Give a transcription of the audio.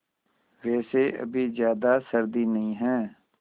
वैसे अभी ज़्यादा सर्दी नहीं है